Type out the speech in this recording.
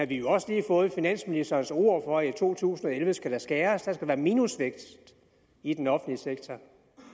jo også lige fået finansministerens ord for at der i to tusind og elleve skal skæres der skal være minusvækst i den offentlige sektor